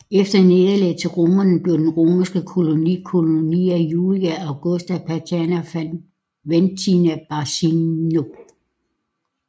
Efter nederlaget til romerne blev den romerske koloni Colonia Julia Augusta Paterna Faventina Barcino